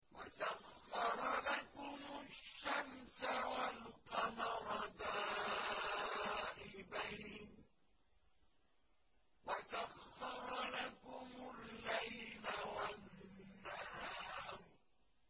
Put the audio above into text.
وَسَخَّرَ لَكُمُ الشَّمْسَ وَالْقَمَرَ دَائِبَيْنِ ۖ وَسَخَّرَ لَكُمُ اللَّيْلَ وَالنَّهَارَ